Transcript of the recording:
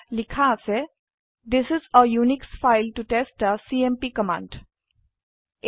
ইয়াত লিখা আছে থিচ ইচ a উনিশ ফাইল ত টেষ্ট থে চিএমপি কামাণ্ড